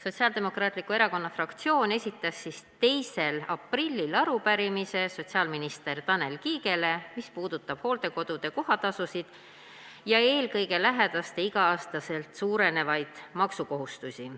Sotsiaaldemokraatliku Erakonna fraktsioon esitas 2. aprillil sotsiaalminister Tanel Kiigele arupärimise, mis puudutab hooldekodude kohatasusid ja eelkõige lähedaste iga-aastaselt suurenevaid maksukohustusi.